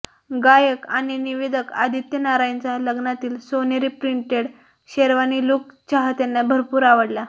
गायक आणि निवेदक आदित्य नारायणचा लग्नातील सोनेरी प्रिंटेड शेरवानी लूक चाहत्यांना भरपूर आवडला